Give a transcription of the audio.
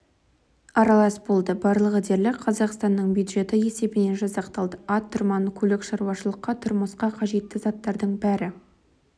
аралас болды барлығы дерлік қазақстанның бюджеті есебінен жасақталды ат-тұрман көлік шаруашылыққа тұрмысқа қажетті заттардың бәрі